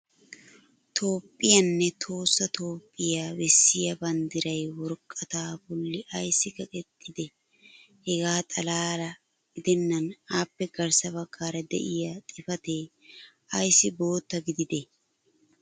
toophphiyaanne tohossa toophphiya bessiya banddiray woraqataa boli ayssi kaqetidee? hegaa xalaala gidennan appe garssa bagaara diya xifatee ayssi bootta gididee?